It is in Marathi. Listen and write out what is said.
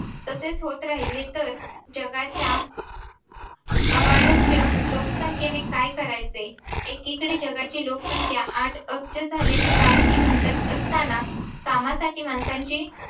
तसेच होत राहिले तर जगाच्या अवाढव्य लोकसंख्येने काय करायचे. एकीकडे जगाची लोकसंख्या आठ अब्ज झाल्याची बातमी उमटत असतांना कामासाठी माणसांची